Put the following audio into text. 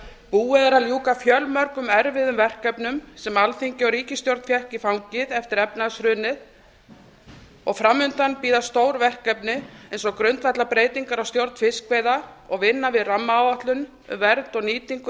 búið er að ljúka fjölmörgum erfiðum verkefnum sem alþingi og ríkisstjórn fékk í fangið eftir efnahagshrunið og fram undan bíða stór verkefni eins og grundvallarbreytingar á stjórn fiskveiða og vinna við rammaáætlun um vernd og nýtingu